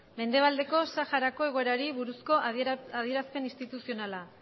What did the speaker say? mendebaldeko saharako egoerari buruzko adierazpen instituzionala